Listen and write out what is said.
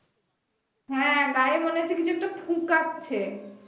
হ্যা গায়ে মনে হচ্ছে কিছু একটা ফুকাচ্ছে